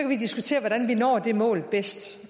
vi diskutere hvordan vi når det mål bedst